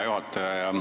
Hea juhataja!